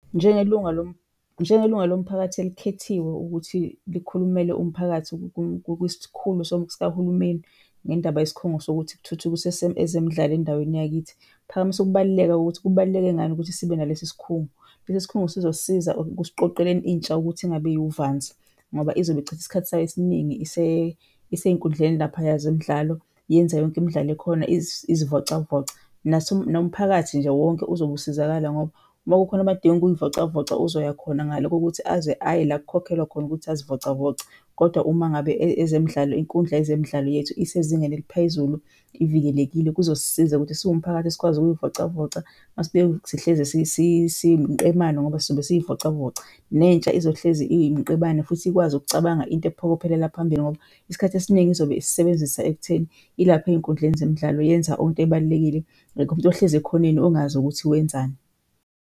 Njengelunga njengelunga lomphakathi elikhethiwe ukuthi likhulumele umphakathi kwisikhulu sikahulumeni ngendaba yesikhungo sokuthi kuthuthukiswe ezemidlalo endaweni yakithi, phakamisa ukubaluleka kokuthi kubaluleke ngani ukuthi sibe nalesi sikhungo. Lesi sikhungo sizosisiza ekusiqoqeleni intsha ukuthi ingabi uvanzi ngoba izobe ichitha isikhathi sayo esiningi isey'nkundleni laphaya zemidlalo yenza yonke imidlalo ekhona izivocavoca. Nomphakathi nje wonke uzobe usizakala ngoba makukhona abadinga ukuy'vocavoca uzoya khona ngale kokuthi aze aye le kukhokhelwa khona ukuthi azivocavoce. Kodwa uma ngabe ezemidlalo, inkundla yezemidlalo yethu isezingeni eliphezulu, ivikelekile kuzosisiza ukuthi siwumphakathi sikwazi ukuy'vocavoca , sihlezi siyimiqemane ngoba sizobe siy'vocavoca. Nentsha izohlezi iyimiqemane futhi ikwazi ukucabanga into ephokophelela phambili ngoba isikhathi esiningi izobe isisebenzisa ekutheni ilapha ey'nkundleni zemidlalo yenza into ebalulekile. Akekho umuntu ohlezi ekhoneni ongazi ukuthi wenzani.